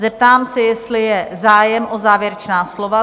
Zeptám se, jestli je zájem o závěrečná slova?